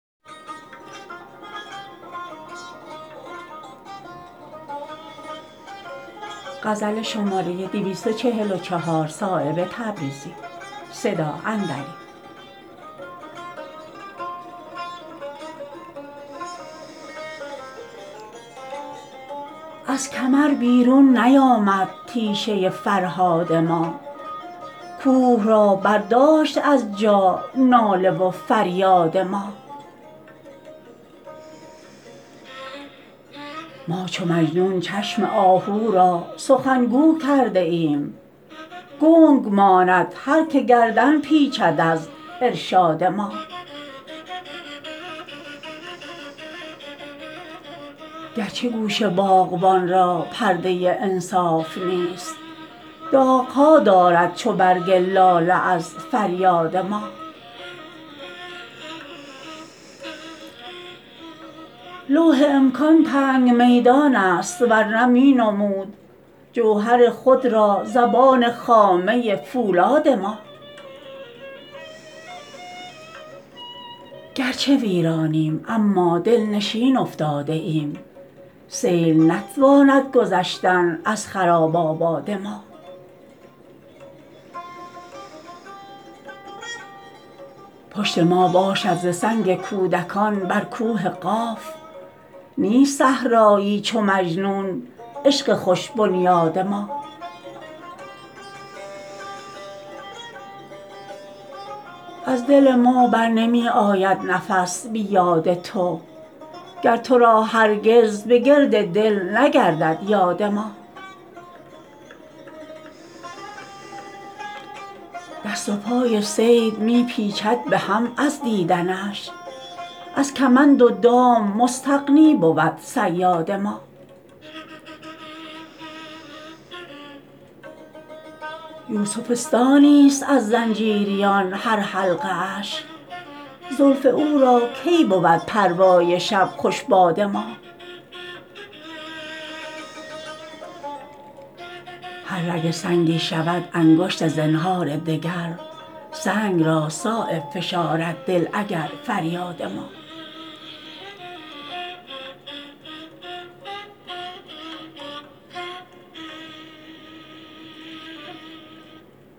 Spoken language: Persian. از کمر بیرون نیامد تیشه فرهاد ما کوه را برداشت از جا ناله و فریاد ما ما چو مجنون چشم آهو را سخنگو کرده ایم گنگ ماند هر که گردن پیچد از ارشاد ما گرچه گوش باغبان را پرده انصاف نیست داغ ها دارد چو برگ لاله از فریاد ما لوح امکان تنگ میدان است ورنه می نمود جوهر خود را زبان خامه فولاد ما گرچه ویرانیم اما دلنشین افتاده ایم سیل نتواند گذشتن از خراب آباد ما پشت ما باشد ز سنگ کودکان بر کوه قاف نیست صحرایی چو مجنون عشق خوش بنیاد ما از دل ما برنمی آید نفس بی یاد تو گر تو را هرگز به گرد دل نگردد یاد ما دست و پای صید می پیچد به هم از دیدنش از کمند و دام مستغنی بود صیاد ما یوسفستانی است از زنجیریان هر حلقه اش زلف او را کی بود پروای شب خوش باد ما هر رگ سنگی شود انگشت زنهار دگر سنگ را صایب فشارد دل اگر فریاد ما